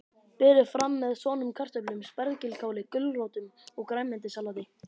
Berið fram með soðnum kartöflum, spergilkáli, gulrótum og grænmetissalati.